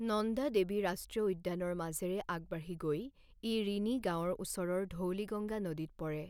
নন্দা দেৱী ৰাষ্ট্ৰীয় উদ্যানৰ মাজেৰে আগবাঢ়ি গৈ ই ৰিণি গাঁৱৰ ওচৰৰ ধৌলিগংগা নদীত পৰে।